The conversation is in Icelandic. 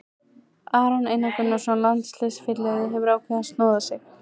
Aron Einar Gunnarsson, landsliðsfyrirliði, hefur ákveðið að snoða sig.